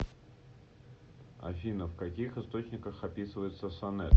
афина в каких источниках описывается сонет